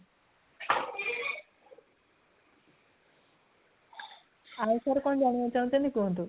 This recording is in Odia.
ଆଉ କଣ ଜାଣିବାକୁ ଚାହୁଁଛନ୍ତି କୁହନ୍ତୁ?